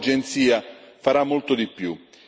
La nuova agenzia farà molto di più.